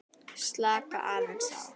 Slaka aðeins á.